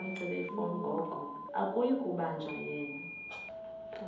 akuyi kubanjwa yena